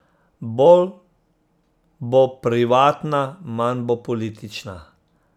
Bolj bo privatna, manj bo politična.